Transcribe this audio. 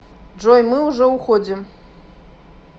джой мы уже уходим